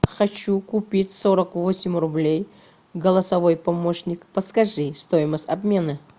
хочу купить сорок восемь рублей голосовой помощник подскажи стоимость обмена